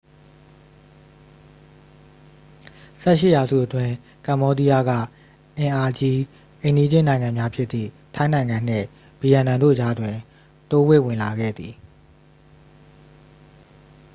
18 ရာစုအတွင်း ကမ္ဘောဒီးယားက အင်အာကြီး အိမ်နီးချင်းနိုင်ငံများဖြစ်သည့် ထိုင်းနိုင်ငံနှင့် ဗီယက်နမ်တို့ကြားတွင် တိုးဝှေ့ဝင်လာခဲ့သည်